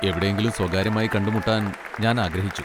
എവിടെയെങ്കിലും സ്വകാര്യമായി കണ്ടുമുട്ടാൻ ഞാൻ ആഗ്രഹിച്ചു.